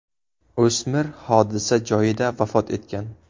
O‘smir hodisa joyida vafot etgan.